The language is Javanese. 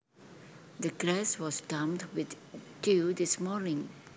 The grass was damp with dew this morning